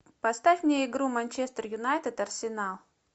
поставь мне игру манчестер юнайтед арсенал